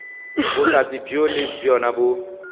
bohlatse bjoo le bjona bo